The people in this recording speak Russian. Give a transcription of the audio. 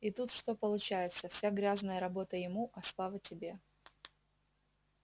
и тут что получается вся грязная работа ему а слава тебе